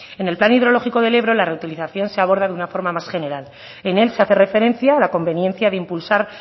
en el plan hidrológico del ebro la reutilización se aborda de una forma más general en él se hace referencia a la conveniencia de impulsar